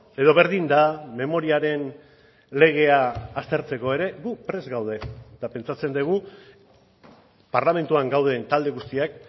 edo berdin da memoriaren legea aztertzeko ere gu prest gaude eta pentsatzen dugu parlamentuan gauden talde guztiak